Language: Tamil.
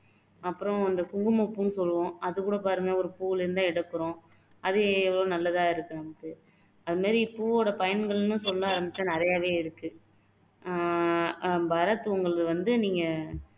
அப்பறம் அந்த குங்குமப்பூன்னு சொல்லுவோம் அது கூட பாருங்க ஒரு பூவுல இருந்து தான் எடுக்குறோம் அது எவ்ளோ நல்லாதா இருக்கு நமக்கு அது மாதிரி பூவோட பயன்கள்னு சொல்ல ஆரமிச்சா நிறையவே இருக்கு ஆஹ் பரத் உங்களுக்கு வந்து நீங்க